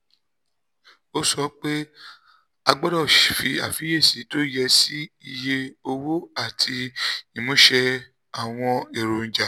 ó sọ pé a gbọ́dọ̀ fi àfiyèsí tó yẹ sí iye owó àti ìmúṣẹ àwọn èròjà